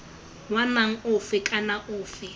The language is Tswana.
wa naga ofe kana ofe